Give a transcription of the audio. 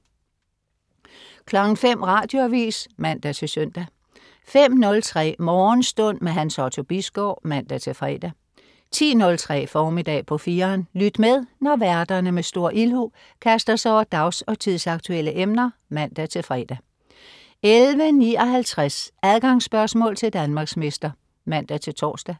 05.00 Radioavis (man-søn) 05.03 Morgenstund. Hans Otto Bisgaard (man-fre) 10.03 Formiddag på 4'eren. Lyt med, når værterne med stor ildhu kaster sig over dags- og tidsaktuelle emner (man-fre) 11.59 Adgangsspørgsmål til Danmarksmester (man-tors)